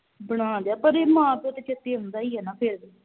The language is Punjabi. ਬਣਾ ਲਿਆ ਪਰ ਇਹ ਮਾਂ ਪਿਉ ਤੇ ਚੇਤੇ ਆਉਂਦਾ ਈ ਆ ਨਾ ਫੇਰ ਵੀ